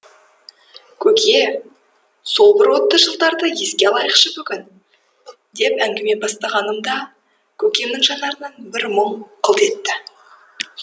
көке сол бір отты жылдарды еске алайықшы бүгін деп әңгіме бастағанымда көкемнің жанарынан бір мұң қылт етті